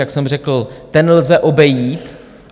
Jak jsem řekl, ten lze obejít.